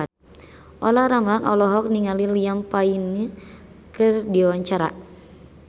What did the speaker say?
Olla Ramlan olohok ningali Liam Payne keur diwawancara